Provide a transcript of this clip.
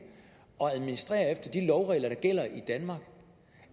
at administrere efter de lovregler der gælder i danmark